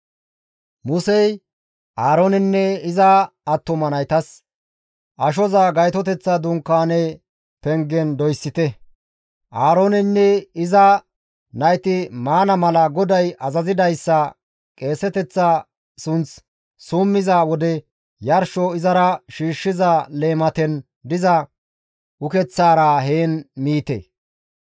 Musey Aaroonenne iza attuma naytas, «Ashoza Gaytoteththa Dunkaane pengen doyssite; Aarooneynne iza nayti maana mala GODAY azazidayssa qeeseteththa sunth summiza wode yarsho izara shiishshiza leematen diza ukeththaara heen miite.